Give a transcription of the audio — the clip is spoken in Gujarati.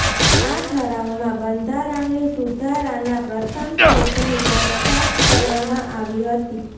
આ ઠરાવમાં બંધારણની સુધારાના પ્રથમ સેટની દરખાસ્ત કરવામાં આવી હતી